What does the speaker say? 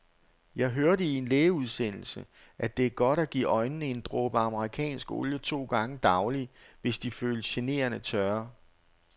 Jeg hørte i en lægeudsendelse, at det er godt at give øjnene en dråbe amerikansk olie to gange daglig, hvis de føles generende tørre.